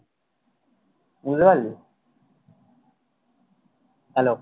বুঝতে পারলি hello